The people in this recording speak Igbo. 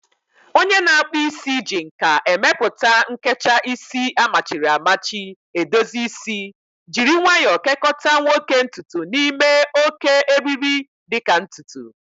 Onye na-akpụ isi ji nka emepụta a nkecha isi amachiri amachi edozi isi, jiri nwayo kekota nwoke ntutu n'ime oké, eriri-dị ka ntutu